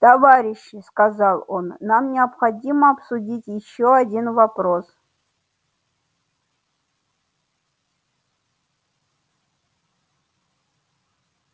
товарищи сказал он нам необходимо обсудить ещё один вопрос